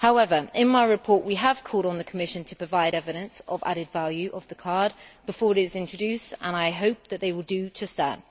However, in my report we have called on the Commission to provide evidence of added value of the card before it is introduced, and I hope that they will do just that.